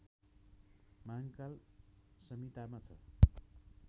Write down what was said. महांकाल संहितामा छ